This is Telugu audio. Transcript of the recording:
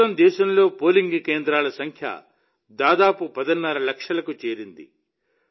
ప్రస్తుతం దేశంలో పోలింగ్ కేంద్రాల సంఖ్య దాదాపు పదిన్నర లక్షలకు చేరింది